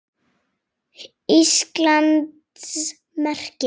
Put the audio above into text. Íslands merki.